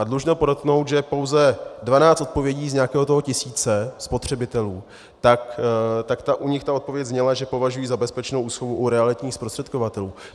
A dlužno podotknout, že pouze 12 odpovědí z nějakého toho tisíce spotřebitelů, tak u nich ta odpověď zněla, že považují za bezpečnou úschovu u realitních zprostředkovatelů.